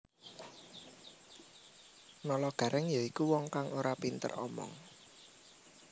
Nalagareng ya iku wong kang ora pinter omong